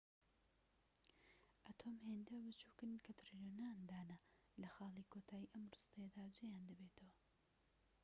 ئەتۆم هێندە بچوکن کە تریلیۆنان دانە لەخاڵی کۆتایی ئەم ڕستەیەدا جێیان دەبێتەوە